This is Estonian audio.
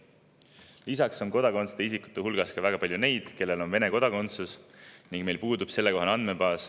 Lisaks on meil kodakondsuseta isikute hulgas väga palju neid, kellel on Vene kodakondsus, meil lihtsalt puudub sellekohane andmebaas.